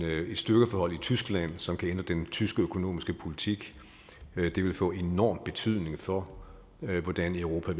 styrkeforhold i tyskland som kan ændre den tyske økonomiske politik det vil få enorm betydning for hvordan europa